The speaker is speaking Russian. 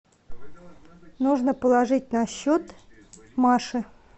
нужно положить на счет маши